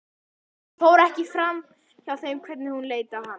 Það fór ekki framhjá þeim hvernig hún leit á hann.